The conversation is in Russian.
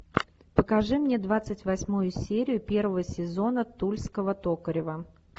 покажи мне двадцать восьмую серию первого сезона тульского токарева